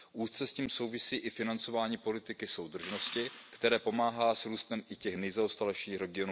Úzce s tím souvisí i financování politiky soudržnosti, které pomáhá s růstem i těch nejzaostalejších regionů.